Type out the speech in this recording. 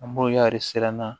An boɲari siran na